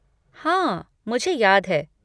हाँ मुझे याद है।